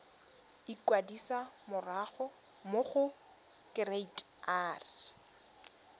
ikwadisa mo go kereite r